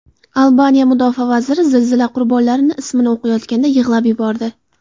Albaniya mudofaa vaziri zilzila qurbonlari ismini o‘qiyotganda yig‘lab yubordi .